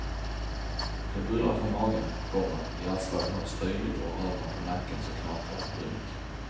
Det bullrar från magen, komma hjärtslagen hörs tydligt och rör man på nacken så knakar det. punkt